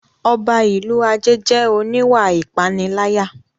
Ọba ìlú Ajé jẹ́ oníwà ìpániláyà